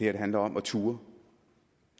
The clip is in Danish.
handler om at turde